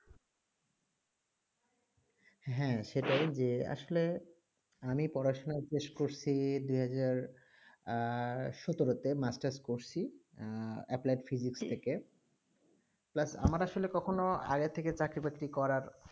high সেটাইজে আসলে আমি পড়াশোনা করেছি দুহাজার সাঁতরাতে আমি আমার মাস্টার করেছি অপ্পলয়েড ফিজিক্স ঠিক প্লাস আমার আগেরথীকে